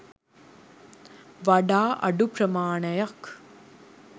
වඩා අඩු ප්‍රමාණයක්